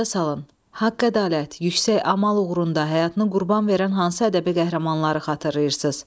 Yada salın, haqq-ədalət, yüksək amal uğrunda həyatını qurban verən hansı ədəbi qəhrəmanları xatırlayırsınız?